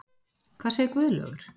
Hvað segir Guðlaugur?